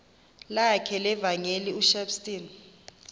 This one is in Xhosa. lakhe levangeli ushepstone